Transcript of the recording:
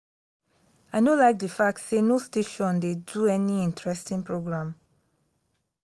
i no like the fact say no station dey di any interesting program